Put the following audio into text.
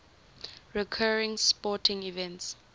recurring sporting events